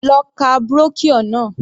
Lọ ka brochure náà.